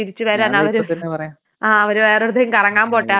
ആഹ് അവര് വേറെ എവിടത്തേക്ക് കറങ്ങാൻ പോട്ടെ ആ സമയം കൊണ്ട് ലാഭിക്കാലോ.